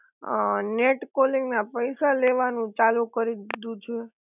અ net calling ના પૈસા લેવાનું ચાલુ કરી દીધું છે